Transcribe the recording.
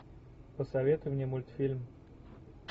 посоветуй мне мультфильм